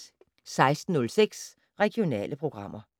16:06: Regionale programmer